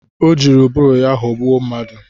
Ọ jiri ụbụrụ ya ghọgbụ mmadụ